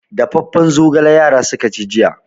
Dafaffen zogala yara suka ci jiya.